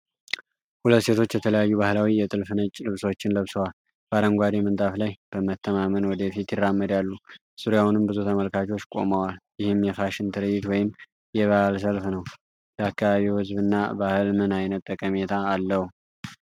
ሁለት ሴቶች የተለያዩ ባህላዊ የጥልፍ ነጭ ልብሶችን ለብሰዋል። በአረንጓዴ ምንጣፍ ላይ በመተማመን ወደ ፊት ይራመዳሉ፤ ዙሪያውንም ብዙ ተመልካቾች ቆመዋል። ይህም የፋሽን ትርዒት ወይም የበዓል ሰልፍ ነው። ለአካባቢው ህዝብ እና ባህል ምን ዓይነት ጠቀሜታ አለው?